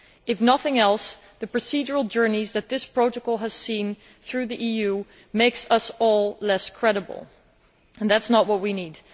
If nothing else, the procedural journey that this protocol has made through the EU makes us all less credible, and that is not what we need.